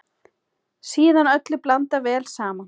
Síðan öllu blandað vel saman.